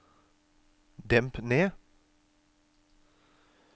demp ned